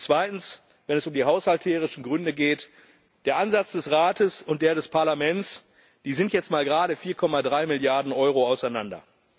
Und zweitens, wenn es um die haushalterischen Gründe geht Der Ansatz des Rates und der des Parlaments sind jetzt mal gerade 4,3 Milliarden Euro auseinander.